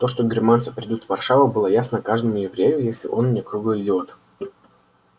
то что германцы придут в варшаву было ясно каждому еврею если он не круглый идиот